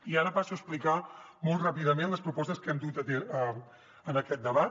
i ara passo a explicar molt ràpidament les propostes que hem dut en aquest debat